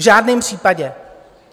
V žádném případě!